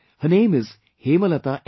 Her name is Hemalata N